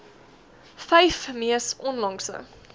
vyf mees onlangse